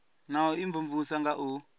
na u imvumvusa nga u